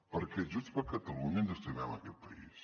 perquè junts per catalunya ens estimem aquest país